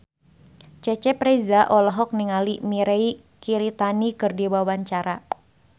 Cecep Reza olohok ningali Mirei Kiritani keur diwawancara